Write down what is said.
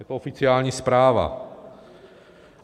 Je to oficiální zpráva.